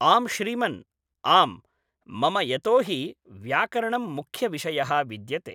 आम् श्रीमन् आम् मम यतोऽहि व्याकरणं मुख्यविषयः विद्यते